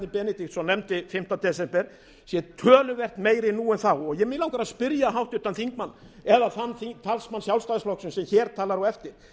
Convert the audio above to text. benediktsson nefndi fimmta desember sé töluvert meiri nú en þá mig langar að spyrja háttvirtan þingmann eða þann talsmann sjálfstæðisflokksins sem hér talar á eftir